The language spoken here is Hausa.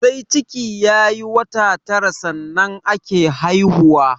Sai ciki ya yi wata tara sannan ake haihuwa